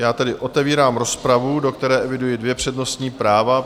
Já tedy otevírám rozpravu, do které eviduji dvě přednostní práva.